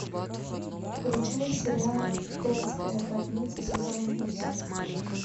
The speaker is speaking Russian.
включай сериал детская больница сезон восемь